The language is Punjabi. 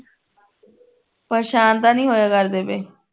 ਪਰੇਸ਼ਾਨ ਤਾਂ ਨਹੀਂ ਹੋਇਆ ਕਰਦੇ ਪਏ